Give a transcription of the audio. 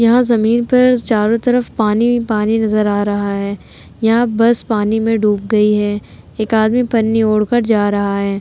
यहाँ जमीन पर चारों तरफ पानी ही पानी नजर आ रहा है यहाँ बस पानी में डूब गई है एक आदमी पन्नी ओढ़ कर जा रहा है।